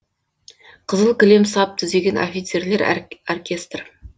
қызыл кілем сап түзеген офицерлер оркестр